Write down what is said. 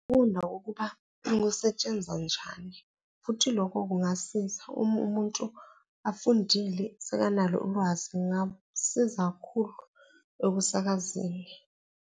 Ukufunda ukuba kusetshenzwa njani futhi lokho kungasiza uma umuntu afundile, sekanalo ulwazi kungamsiza kakhulu ekusakazeni.